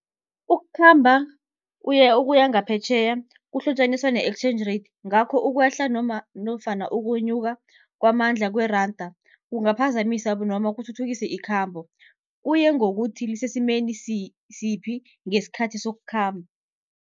Ukukhamba ukuya ngaphetjheya kuhlotjaniswa ne-exchange rate, ngakho ukwehla nofana ukwenyuka kwamandla kweranda kungaphazamisa noma kuthuthukise ikhambo, kuye ngokuthi lisesimeni siphi ngesikhathi sokukhamba.